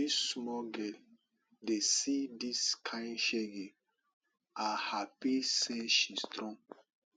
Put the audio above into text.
dis small girl dey see dis kain shege i happy say she strong